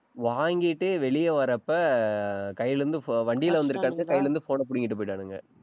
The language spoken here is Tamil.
வாங்கிட்டு வெளிய வர்றப்ப கையில இருந்து pho~ வண்டியில வந்திருக்கானுங்க. கையில இருந்து phone ஐ புடுங்கிட்டு போயிட்டானுங்க.